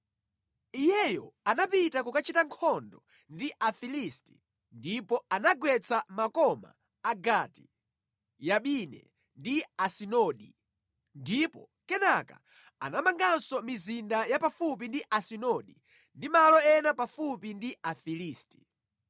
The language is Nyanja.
Iyeyo anapita kukachita nkhondo ndi Afilisti ndipo anagwetsa makoma a Gati, Yabine ndi Asidodi. Ndipo kenaka anamanganso mizinda ya pafupi ndi Asidodi ndi malo ena pafupi ndi Afilisti.